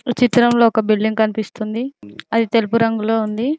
ఈ చిత్రంలో ఒక బిల్డింగ్ కనిపిస్తుంది అది తెలుపు రంగులో ఉంది.